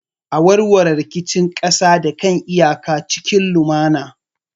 A warware rikicin kasa da kan iyaka cikin lumana.